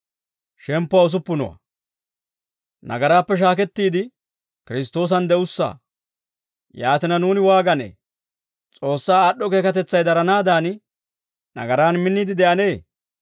Yaatina, nuuni waaganee? S'oossaa aad'd'o keekatetsay daranaadan, nagaraan minniide de'anee?